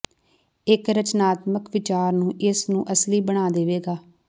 ਇੱਕ ਰਚਨਾਤਮਕ ਵਿਚਾਰ ਨੂੰ ਇਸ ਨੂੰ ਅਸਲੀ ਬਣਾ ਦੇਵੇਗਾ